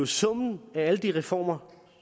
summen af alle de reformer